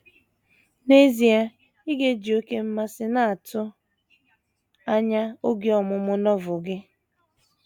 N’ezie, ị ga - eji oké mmasị na - atụ anya oge ọmụmụ Novel gị.